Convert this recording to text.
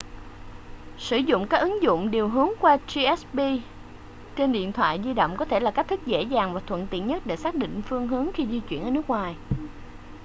sử dụng các ứng dụng điều hướng qua gps trên điện thoại di động có thể là cách thức dễ dàng và thuận tiện nhất để xác định phương hướng khi di chuyển ở nước ngoài